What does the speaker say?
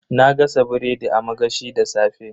Na gasa biredi a magashi da safe.